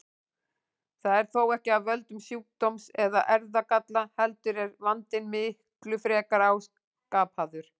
Það er þó ekki af völdum sjúkdóms eða erfðagalla heldur er vandinn miklu frekar áskapaður.